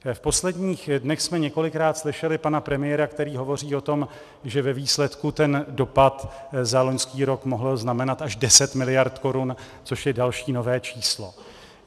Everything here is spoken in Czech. V posledních dnech jsme několikrát slyšeli pana premiéra, který hovoří o tom, že ve výsledku ten dopad za loňský rok mohl znamenat až 10 miliard korun, což je další nové číslo.